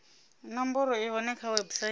nomboro i hone kha website